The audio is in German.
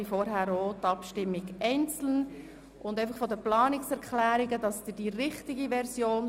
Die Version 4 der Planungserklärungen bildet die Basis für die Diskussion.